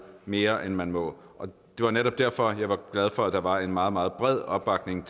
mere end man må det er netop derfor jeg er glad for at der var en meget meget bred opbakning